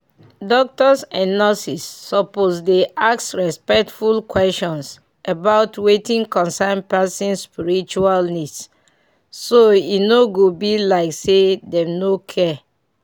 doctors and nurses suppose dey ask respectful questions about wetin concern person spiritual needs so e no go be like say dem no care.